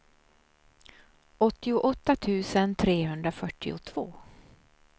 åttioåtta tusen trehundrafyrtiotvå